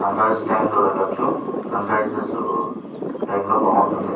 Sun rice time లో వెళ్ళచ్చు. Sunrise time లో బాగుంటుంది.